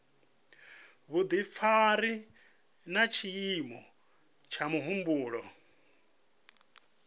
vhudifari na tshiimo tsha muhumbulo